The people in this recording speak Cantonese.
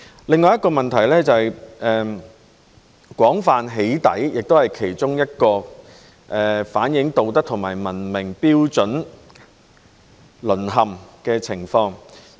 另一個問題是，廣泛的"起底"行為也是其中一個反映道德和文明標準淪陷的情況。